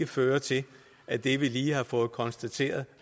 føre til at det vi lige har fået konstateret